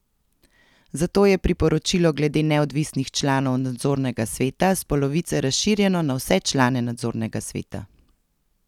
Zato je priporočilo glede neodvisnih članov nadzornega sveta s polovice razširjeno na vse člane nadzornega sveta.